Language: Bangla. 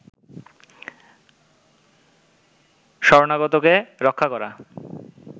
শরণাগতকে রক্ষা করা